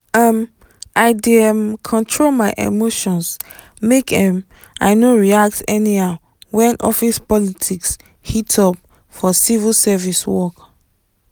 um i dey um control my emotions make um i no react anyhow when office politics heat up for civil service work.